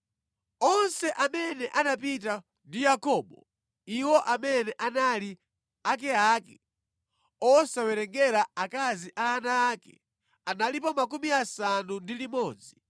Onse amene anapita ndi Yakobo (iwo amene anali akeake, osawerengera akazi a ana ake), analipo 66.